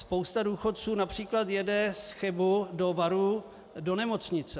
Spousta důchodců například jede z Chebu do Varů do nemocnice.